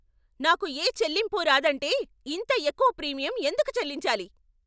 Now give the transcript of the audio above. నాకు ఏ చెల్లింపు రాదంటే ఇంత ఎక్కువ ప్రీమియం ఎందుకు చెల్లించాలి?